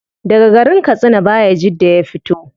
Daga garin katsina bayajidda ya fito